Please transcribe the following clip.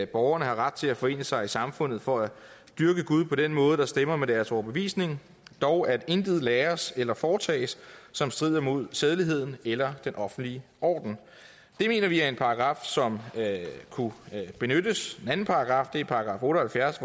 borgerne har ret til at forene sig i samfund for at dyrke gud på den måde der stemmer med deres overbevisning dog at intet læres eller foretages som strider mod sædeligheden eller den offentlige orden det mener vi er en paragraf som kunne benyttes en anden paragraf er § otte